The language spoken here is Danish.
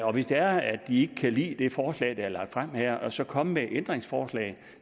og hvis det er at de kan lide det forslag der er lagt frem her så komme med ændringsforslag